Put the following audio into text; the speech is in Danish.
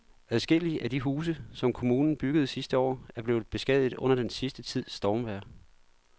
Adskillige af de huse, som kommunen byggede sidste år, er blevet beskadiget under den sidste tids stormvejr.